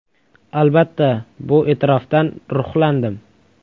Albatta, bu e’tirofdan ruhlandim.